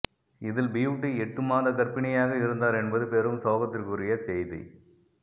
இதில் பியூட்டி எட்டு மாத கர்ப்பிணியாக இருந்தார் என்பது பெரும் சோகத்திற்குரிய செய்தி